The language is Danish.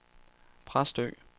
Præstø